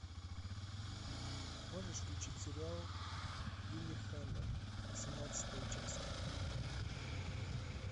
можешь включить сериал лиллехаммер восемнадцатая часть